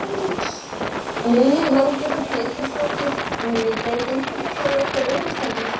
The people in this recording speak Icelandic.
Lillý Valgerður Pétursdóttir: Munum við breyta einhverju þá í okkar öryggismálum?